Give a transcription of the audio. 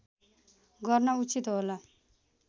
गर्न उचित होला